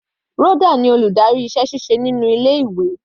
Rhoda ni aládarí iṣẹ́ ṣíṣe inú ilé ìwé.